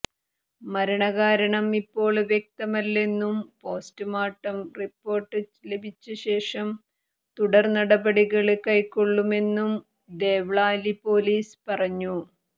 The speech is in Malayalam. മരണകാരണം ഇപ്പോള് വ്യക്തമല്ലെന്നും പോസ്റ്റ്മോര്ട്ടം റിപ്പോര്ട്ട് ലഭിച്ചശേഷം തുടര്നടപടികള് കൈക്കൊള്ളുമെന്നും ദേവ്ലാലി പൊലീസ് പറഞ്ഞു